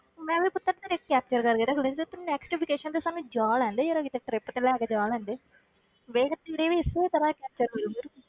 ਮੈਂ ਵੀ ਕਰਕੇ ਰੱਖ ਲੈਂਦੀ ਜਦੋਂ ਤੂੰ next vacation ਤੇ ਸਾਨੂੰ ਜਾ ਲੈਣ ਦੇ ਜ਼ਰਾ ਕਿਤੇ trip ਤੇ ਲੈ ਕੇ ਜਾ ਲੈਣ ਦੇ ਵੇਖ ਤੇਰੇ ਵੀ ਇਸੇ ਤਰ੍ਹਾਂ ਹੋਈ ਹੈ।